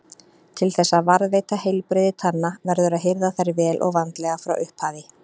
Til þess að varðveita heilbrigði tanna verður að hirða þær vel og vandlega frá upphafi.